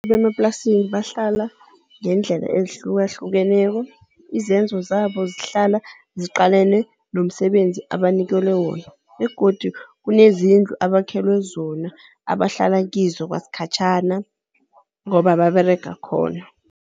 Abantu bemaplasini bahlala ngeendlela ezihlukahlukeneko, izenzo zabo zihlala ziqalene nomsebenzi abanikelwe wona begodu kunezindlu abakhelwe zona abahlala kizo kwasikhatjhana ngoba baberega khona.